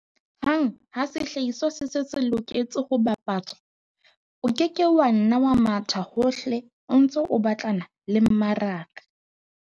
Hang ha sehlahiswa se se se loketse ho bapatswa, o ke ke wa nna wa mathaka hohle o ntse o batlana le mmaraka.